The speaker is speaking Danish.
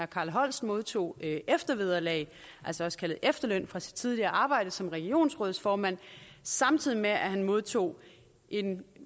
carl holst modtog eftervederlag også kaldet efterløn fra sit tidligere arbejde som regionsrådsformand samtidig med at han modtog en